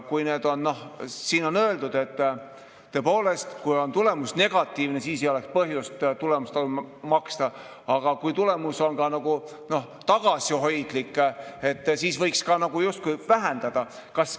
Siin on öeldud, et tõepoolest, kui tulemus on negatiivne, siis ei ole põhjust tulemustasu maksta, aga kui tulemus on tagasihoidlik, siis võiks justkui vähendada.